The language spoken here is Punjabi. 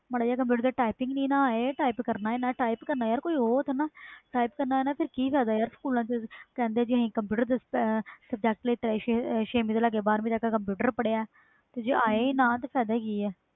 ਮਾੜਾ ਜਾ ਕੰਪਿਊਟਰ ਤੇ type typing ਕਰਨਾ ਹੀ ਨਾ ਆਵੇ ਫਿਰ ਕਿ ਫਾਇਦਾ ਸਕੂਲਾਂ ਵਿਚ ਕਹਿੰਦੇ ਵ ਅਸੀਂ ਕੰਪਿਊਟਰ subject ਲੀ ਤਾ ਛੇਵੀ ਤੋਂ ਲੈ ਕੇ ਬਹਾਰਵੀ ਤਕ ਕੰਪਿਊਟਰ ਪੜ੍ਹਆਇਆ ਜੇ ਆਵੇ ਹੀ ਨਾ ਤੇ ਕਿ ਫਾਇਦਾ